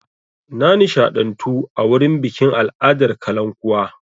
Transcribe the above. Na nishaɗantu a wurin bikin al'adar kalankuwa.